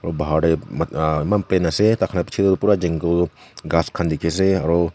bahar tae eman plain ase takhan la bichae tu pura jungle ghas khan dikhiase aru.